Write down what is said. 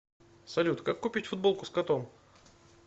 салют как купить футболку с котом